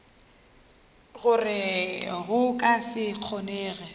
gore go ka se kgonege